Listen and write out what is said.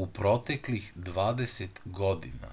u proteklih 20 godina